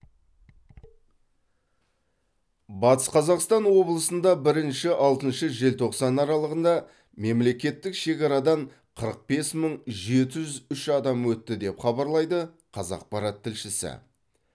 батыс қазақстан облысында бірінші алтыншы желтоқсан аралығында мемлекеттік шекарадан қырық бес мың жеті жүз үш адам өтті деп хабарлайды қазақпарат тілшісі